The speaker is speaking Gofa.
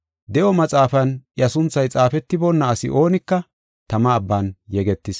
De7o maxaafan iya sunthay xaafetiboonna asi oonika tama abban yegetis.